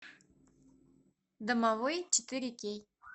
домовой четыре кей